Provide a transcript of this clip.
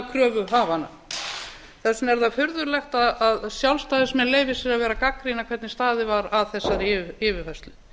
kröfuhafanna þess vegna er það furðulegt að sjálfstæðismenn leyfi sér að vera að gagnrýna hvernig staðið var að þessari yfirfærslu